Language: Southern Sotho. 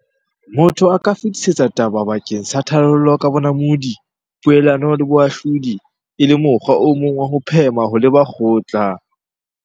Motho a ka fetisetsa taba bakeng sa tharollo ka bonamodi, poelano le boahlodi, e le mokgwa o mong wa ho phema ho leba kgotla.